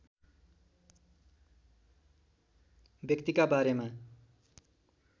व्यक्तिका बारेमा